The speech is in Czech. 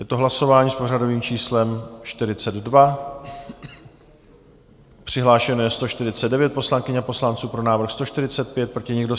Je to hlasování s pořadovým číslem 42, přihlášeno je 149 poslankyň a poslanců, pro návrh 145, proti nikdo.